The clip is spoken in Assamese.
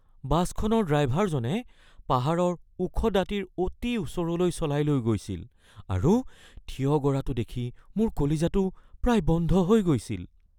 বাছখনৰ ড্ৰাইভাৰজনে পাহাৰৰ ওখ দাঁতিৰ অতি ওচৰলৈ চলাই লৈ গৈছিল আৰু থিয় গৰাটো দেখি মোৰ কলিজাটো প্ৰায় বন্ধ হৈ গৈছিল